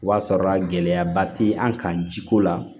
O b'a sɔrɔ gɛlɛyaba ti an kan jiko la